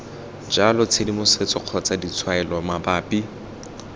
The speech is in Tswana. jalo tshedimosetso kgotsa ditshwaelo mabapi